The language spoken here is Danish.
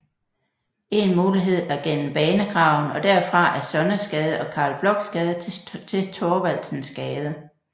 En mulighed er gennem Banegraven og derfra ad Sonnesgade og Carl Blochs Gade til Thorvaldsensgade